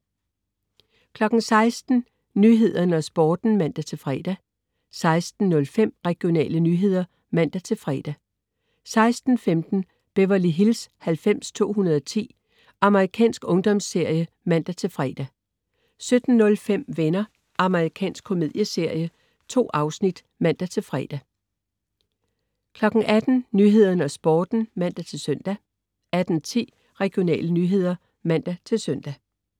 16.00 Nyhederne og Sporten (man-fre) 16.05 Regionale nyheder (man-fre) 16.15 Beverly Hills 90210. Amerikansk ungdomsserie (man-fre) 17.05 Venner. Amerikansk komedieserie. 2 afsnit (man-fre) 18.00 Nyhederne og Sporten (man-søn) 18.10 Regionale nyheder (man-søn)